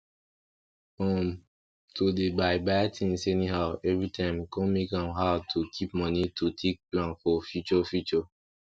um to dey buy buy tins anyhow everytime con make am hard to keep moni to take plan for future future